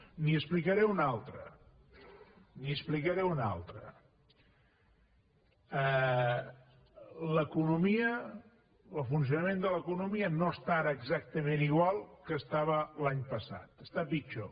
n’hi explicaré una altra n’hi explicaré una altra l’economia el funcionament de l’economia no està ara exactament igual que estava l’any passat està pitjor